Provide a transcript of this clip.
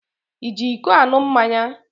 Ị ji iko aṅụ mmanya?